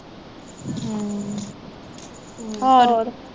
ਹੋਰ